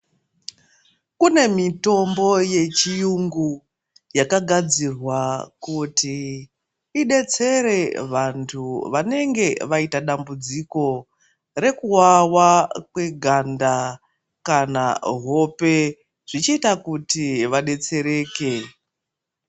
Pane mitombo ye chiyungu yaka gadzirwa kuti idetsere vantu vanenge vaita dambudziko reku wawa kwe ganda kana hope zvichiita kuti vadetsereke.